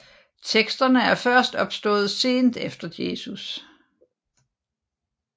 Teksterne er først opstået sent efter Jesus